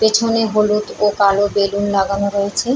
পেছনে হলুদ ও কালো বেলুন লাগানো রয়েছে ।